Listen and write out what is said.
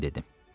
Mən dedim.